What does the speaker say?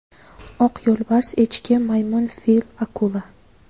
Oq yo‘lbars, echki, maymun, fil, akula.